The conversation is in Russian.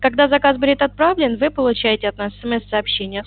когда заказ будет отправлен вы получаете от нас смс сообщение